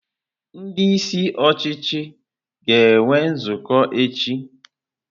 Ndị isi ọchịchị ga-enwe nzukọ echi.